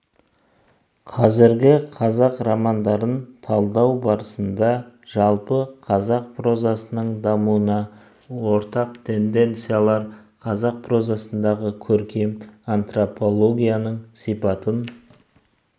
қазіргі қазақ романдарын талдау барысында жалпы қазақ прозасының дамуына ортақ тенденциялар қазақ прозасындағы көркем антропологияның сипатын